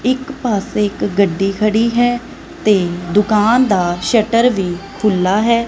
ਇੱਕ ਪਾਸੇ ਇੱਕ ਗੱਡੀ ਖੜੀ ਹੈ ਤੇ ਦੁਕਾਨ ਦਾ ਸ਼ਟਰ ਵੀ ਖੁੱਲਾ ਹੈ।